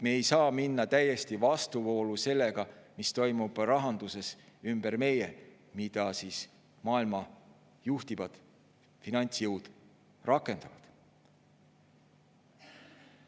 Me ei saa minna täiesti vastuvoolu sellega, mis toimub rahanduses ümber meie, mida maailma juhtivad finantsjõud rakendavad.